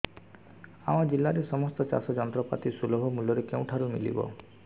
ଆମ ଜିଲ୍ଲାରେ ସମସ୍ତ ଚାଷ ଯନ୍ତ୍ରପାତି ସୁଲଭ ମୁଲ୍ଯରେ କେଉଁଠାରୁ ମିଳିବ